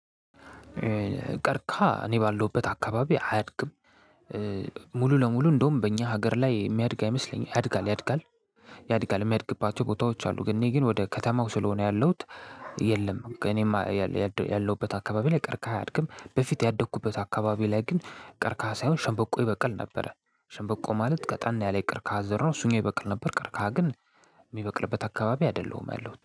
ቀርቀሃ እኔ ባለሁበት አካባቢ አያድግም። ሙሉ ለሙሉ እንደውም በእኛ ሀገር ላይ የሚያድግ አይመስለኝም ያድጋል ያድጋል ያድጋል የሚያድግባቸው ቦታዎች አሉ። ግን እኔ ግን ወደ ከተማው ስለሆነ ያለሁት የለም። እኔም ያለሁበት አካባቢ ላይ ቀርቀሃ አያድግም። በፊት ያደግኩበት አካባቢ ላይ ግን ቀርቀሃ ሳይሆን ሸንበቆ ይበቅል ነበረ። ሸንበቆ ማለት ቀጠና ያለ የቀርቀሃ ዘር ነው እሱኛው ይበቅል ነበር። ቀርቀሃ ግን የሚበቅልበት አካባቢ አይደለሁም ያሉት